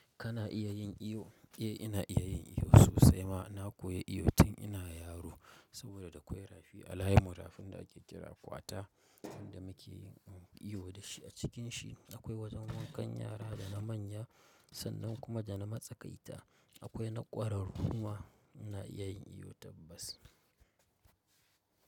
Kana iya yin iyo? Eh, ina iya yin iyo sosai ma. Na koya iyo tun ina yaro saboda da akwai rafi alhaita. Rafin da ake kira kwata, inda muke yin iyo da shi. A cikin shi akwai wajen wankan yara da na manya sannan kuma da na matsakaita. Akwai na ƙwararrumma na iya yin iyo tabbas.